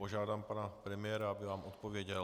Požádám pana premiéra, aby vám odpověděl.